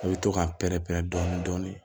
I bɛ to k'a pɛrɛn-pɛrɛn dɔɔnin